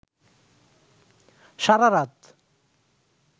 সারারাত